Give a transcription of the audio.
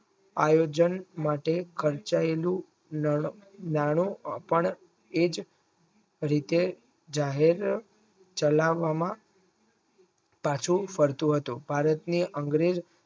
આયોજન માટે ખર્ચાયેલું અમ એજ રીતે જાહેર ચાલવામાં પાછું ફરતું હતું ભારતને અંગ્રેજો